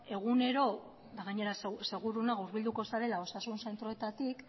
egunero eta gainera seguru nago hurbilduko zarela osasun zentroetatik